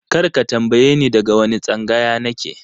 Kar ka tambaye ni daga wane tsangaya na ke!